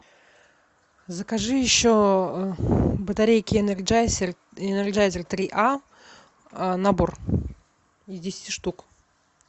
закажи еще батарейки энерджайзер энерджайзер три а набор из десяти штук